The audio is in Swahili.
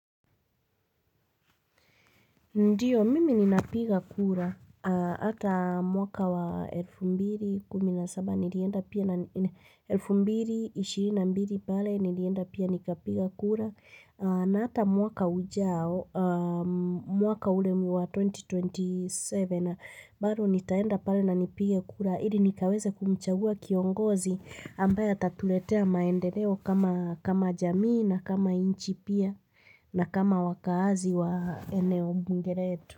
Ndiyo, mimi ninapiga kura, hata mwaka wa elfu mbili, kumi na saba, nilienda pia, elfu mbili, ishirini na mbili pale, nilienda pia nikapiga kura, na hata mwaka ujao, mwaka ule wa 2027, bado nitaenda pale na nipige kura. Ili nikaweze kumchagua kiongozi ambaye atatuletea maendeleo kama jamii na kama nchi pia na kama wakaazi wa eneo bunge letu.